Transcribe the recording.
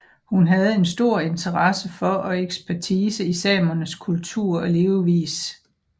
Hun havde en stor interesse for og ekspertise i samernes kultur og levevis